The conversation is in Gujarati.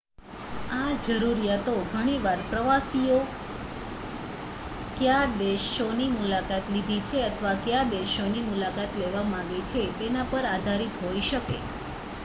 આ જરૂરિયાતો ઘણી વાર પ્રવાસીએ કયા દેશોની મુલાકાત લીધી છે અથવા કયા દેશોની મુલાકાત લેવા માગે છે તેના પર આધારિત હોઈ શકે